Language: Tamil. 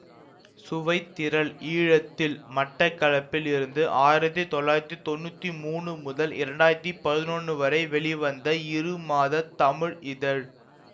சுவைத்திரள் ஈழத்தில் மட்டக்களப்பில் இருந்து ஆயிரத்தி தொள்ளாயிரத்தி தொன்னூத்தி மூனு முதல் இரண்டாயிரத்தி பதினொன்னு வரை வெளிவந்த இரு மாதத் தமிழ் இதழ்